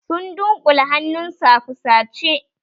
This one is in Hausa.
Sun dunkule hannunsu a fusace.